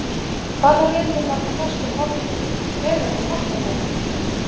Hvaða lið mun valda mestu vonbrigðum Hver verður markakóngur?